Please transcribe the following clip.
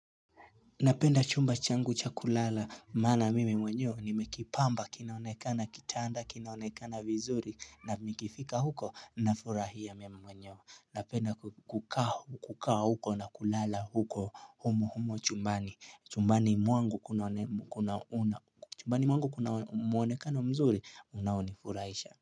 Napenda chumba changu cha kulala maana mimi mwenyewe nimekipamba kinaonekana kitanda kinaonekana vizuri na nikifika huko nafurahia mimi mwenyewe Napenda kukaa huko na kulala huko humo humo chumbani chumbani mwangu kunauna chumbani mwangu kuna muonekano mzuri unaonifurahisha.